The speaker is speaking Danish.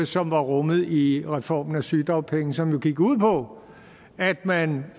som var rummet i reformen af sygedagpenge som jo gik ud på at man